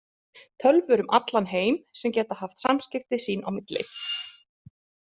Tölvur um allan heim sem geta haft samskipti sín á milli.